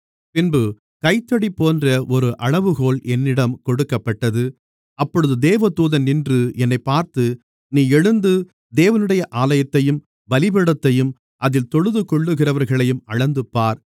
பின்பு கைத்தடி போன்ற ஒரு அளவுகோல் என்னிடம் கொடுக்கப்பட்டது அப்பொழுது தேவதூதன் நின்று என்னைப் பார்த்து நீ எழுந்து தேவனுடைய ஆலயத்தையும் பலிபீடத்தையும் அதில் தொழுதுகொள்ளுகிறவர்களையும் அளந்து பார்